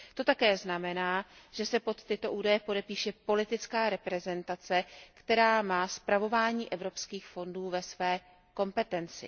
To také znamená, že se pod tyto údaje podepíše politická reprezentace, která má spravování evropských fondů ve své kompetenci.